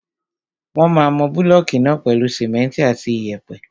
Wọ́n máa mọ búlọ̀kù náà pèlú simẹ́ntì àti iyẹ̀pẹ̀.